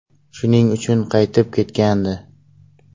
Shuning uchun qaytib ketgandi.